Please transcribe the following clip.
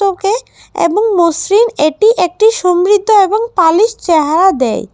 এবং মসৃণ এটি একটি সমৃদ্ধ এবং পালিশ চেহারা দেয়।